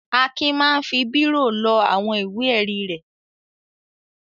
Akin máa ń fi bírò lọ àwọn ìwé-ẹ̀rí rẹ̀.